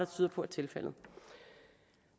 tyder på er tilfældet